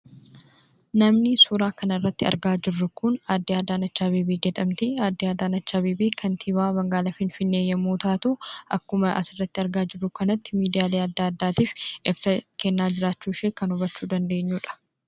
Namni suuraa kanarratti argaa jirru kun Aaddee Adaaneechi Abeebee jedhamti. Aaddee Adaaneechi Abeebee kantiibaa magaala finfinnee yemmu taatu, akkuma asirratti argaa jirru kanatti miidiyaalee addaa, addaatiif ibsa kenna jiraachuu ishee kan hubachuu dandeenyudha.